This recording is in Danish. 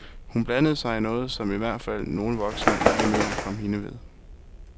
Hun blandede sig i noget, som i hvert fald nogle voksne ikke mener kom hende ved.